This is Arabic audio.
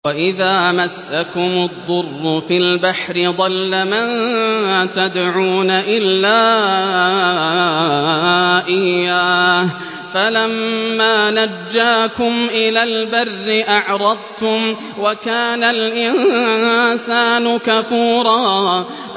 وَإِذَا مَسَّكُمُ الضُّرُّ فِي الْبَحْرِ ضَلَّ مَن تَدْعُونَ إِلَّا إِيَّاهُ ۖ فَلَمَّا نَجَّاكُمْ إِلَى الْبَرِّ أَعْرَضْتُمْ ۚ وَكَانَ الْإِنسَانُ كَفُورًا